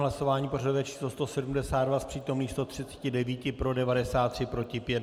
Hlasování pořadové číslo 172, z přítomných 139 pro 93, proti pět.